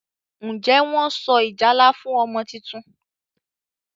Njé Wón so ìjálá fún ọmọ títún?